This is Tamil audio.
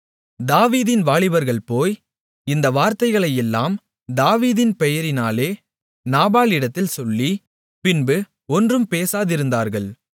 தாவீதின் வாலிபர்கள் போய் இந்த வார்த்தைகளையெல்லாம் தாவீதின் பெயரினாலே நாபாலிடத்தில் சொல்லி பின்பு ஒன்றும் பேசாதிருந்தார்கள்